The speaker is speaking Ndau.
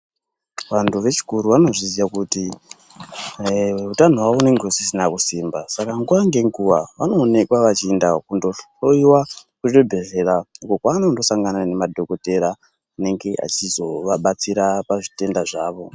Vantu vechikuru vanozviziva kuti utano hwavo hunenge husisina kusimba saka nguwa ngenguwa vanoonekwa vachienda kunghloyiwa uko vanosangana nemadhokodheya anenge achizovabatsira pazvitenda zvavo.